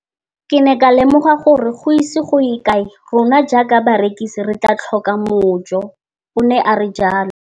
Ke ne ka lemoga gore go ise go ye kae rona jaaka barekise re tla tlhoka mojo, o ne a re jalo.